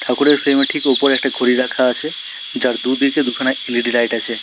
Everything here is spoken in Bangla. ঠাকুরের ফ্রেম -এর ঠিক ওপরে একটি ঘড়ি রাখা আছে যার দুদিকে দুখানা এল_ই_ডি লাইট আছে।